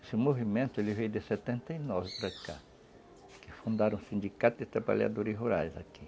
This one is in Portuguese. Esse movimento veio de setenta e nove para cá, que fundaram o Sindicato de Trabalhadores Rurais aqui.